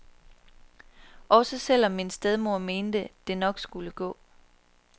Også selvom min stedmor mente, det nok skulle gå.